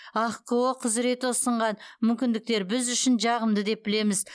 ахқо құзыреті ұсынған мүмкіндіктер біз үшін жағымды деп білеміз